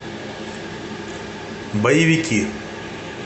боевики